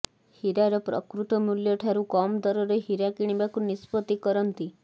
ହୀରାର ପ୍ରକୃତ ମୂଲ୍ୟ ଠାରୁ କମ୍ ଦରରେ ହୀରା କିଣିବାକୁ ନିଷ୍ପତ୍ତି କରନ୍ତି